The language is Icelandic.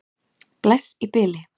Bless í bili.